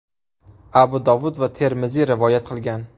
Abu Dovud va Termiziy rivoyat qilgan.